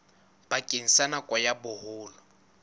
bakeng sa nako ya boholo